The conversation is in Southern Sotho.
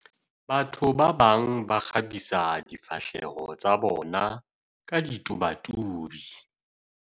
batho ba bang ba kgabisa difahleho tsa bona ka ditobatubi